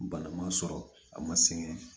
Balaman sɔrɔ a ma sɛgɛn